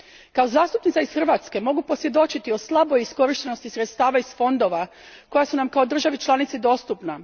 Kao zastupnica iz Hrvatske mogu posvjedočiti slaboj iskorištenosti sredstava iz fondova koja su nam kao državi članici dostupna.